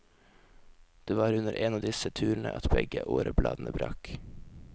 Det var under en av disse turene at begge årebladene brakk.